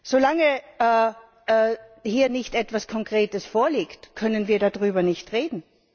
Solange hier nicht etwas Konkretes vorliegt, können wir darüber nicht reden.